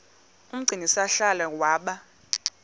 umgcini sihlalo waba